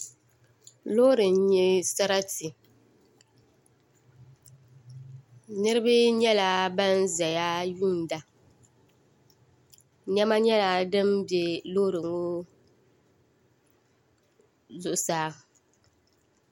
Loori n nyɛ sarati niraba nyɛla ban ʒɛya yuunda niɛma nyɛla din bɛ loori ŋɔ zuɣusaa